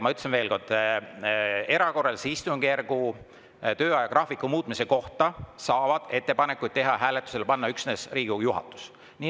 Ma ütlen veel kord: erakorralise istungjärgu töö ajagraafiku muutmise kohta saab ettepanekuid teha ja hääletusele panna üksnes Riigikogu juhatus.